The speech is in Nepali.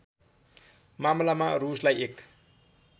मामलामा रूसलाई एक